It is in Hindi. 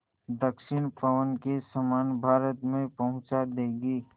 दक्षिण पवन के समान भारत में पहुँचा देंगी